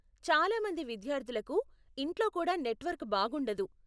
చాలా మంది విద్యార్ధులకు ఇంట్లో కూడా నెట్వర్క్ బాగుండదు.